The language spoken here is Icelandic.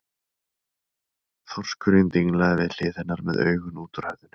Þorskurinn dinglaði við hlið hennar með augun út úr höfðinu.